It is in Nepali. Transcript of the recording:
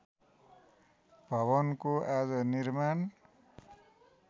भवनको आज निर्माण